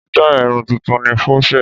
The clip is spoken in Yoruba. Sítáì Irun tuntun ni crochet.